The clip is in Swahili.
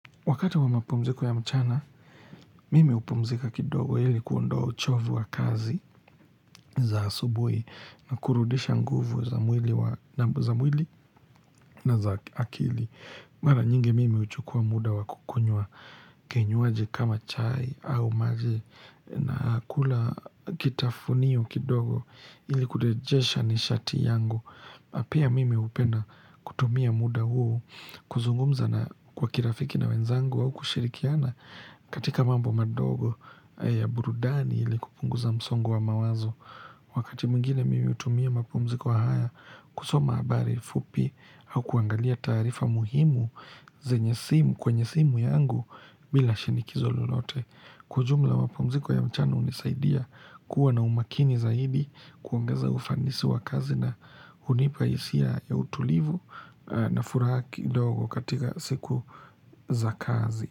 Wakati wa mapumziko ya mchana, mimi upumzika kidogo ili kuondoa uchovu wa kazi za asubuhi na kurudisha nguvu za mwili wa za mwili na za akili. Mara nyingi mimi uchukua muda wa kukunywa kinywaji kama chai au maji na kula kitafuniyo kidogo ili kurejesha ni shati yangu. Pia mimi upenda kutumia muda huu kuzungumza na kwa kirafiki na wenzangu au kushirikiana katika mambo madogo ya burudani ili kupunguza msongo wa mawazo. Wakati mwingine mimi utumia mapumziko haya kusoma habari fupi au kuangalia taarifa muhimu zenye simu kwenye simu yangu bila shinikizo lolote. Kwa jumla mapumziko ya mchana unisaidia kuwa na umakini zaidi kuongeza ufanisi wa kazi na unipaisia ya utulivu na furaha kidogo katika siku za kazi.